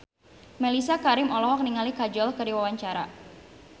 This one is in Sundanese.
Mellisa Karim olohok ningali Kajol keur diwawancara